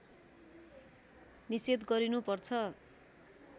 निषेध गरिनु पर्छ